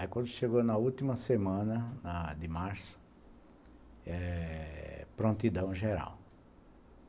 Aí quando chegou na última semana de março, prontidão geral.